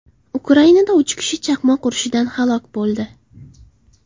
Ukrainada uch kishi chaqmoq urishidan halok bo‘ldi.